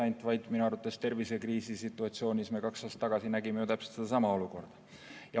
Minu arvates me nägime tervisekriisi situatsioonis kaks aastat tagasi täpselt samasugust olukorda.